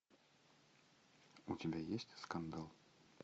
у тебя есть скандал